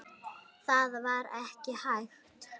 Það var ekki hægt.